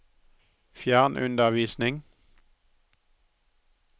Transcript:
fjernundervisning